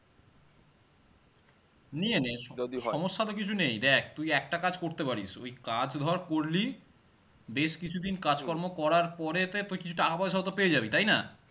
নিয়ে নে সমস্যা তো কিছু নেই দ্যাখ তুই একটা কাজ করতে পারিস, ওই কাজ ধরে করলি বেশ কিছুদিন কাজকর্ম করার পড়েতে তুই কিছু টাকা পয়সাওতো পেয়ে জাবি তাইনা?